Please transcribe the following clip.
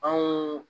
Anw